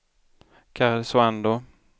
Karesuando